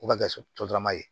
O ka kɛ sodarama ye